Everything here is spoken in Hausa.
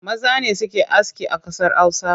Maza ne suke aski a ƙasar Hausa